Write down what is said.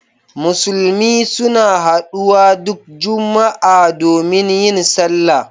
Musulmi suna haɗuwa duk Juma'a domin yin sallah.